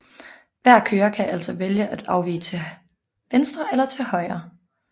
Hver kører kan altså vælge at afvige til venstre eller til højre